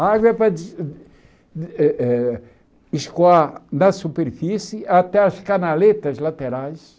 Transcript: A água é para de eh eh escoar na superfície até as canaletas laterais.